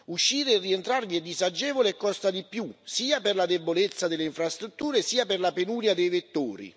Uscire e rientrarvi è disagevole e costa di più, sia per la debolezza delle infrastrutture sia per la penuria dei vettori.